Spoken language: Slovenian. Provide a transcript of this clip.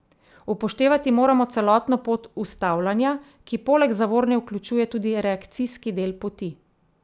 Upoštevati moramo celotno pot ustavljanja, ki poleg zavorne vključuje tudi reakcijski del poti.